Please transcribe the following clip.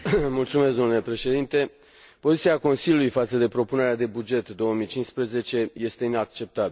Domnule Președinte, poziția Consiliului față de propunerea de buget 2015 este inacceptabilă.